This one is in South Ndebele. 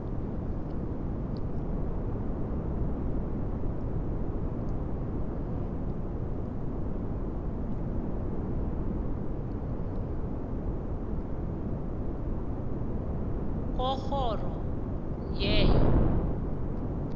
komrholo we wo